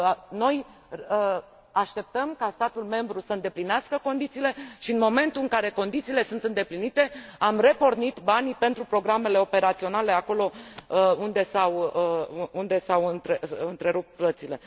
Noi așteptăm ca statul membru să îndeplinească condițiile și, în momentul în care condițiile sunt îndeplinite, am repornit banii pentru programele operaționale, acolo unde s au întrerupt plățile.